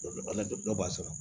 Dɔw b'a sɔrɔ